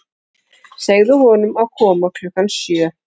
Segðu honum að koma klukkan sjö.